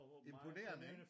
Imponerende ikke?